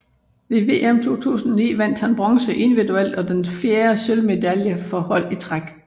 Ved VM 2009 vandt han bronze individuelt og den fjerde sølvmedalje for hold i træk